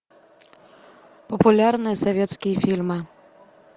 популярные советские фильмы